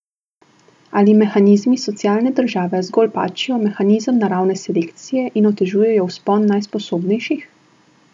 Ali mehanizmi socialne države zgolj pačijo mehanizem naravne selekcije in otežujejo vzpon najsposobnejših?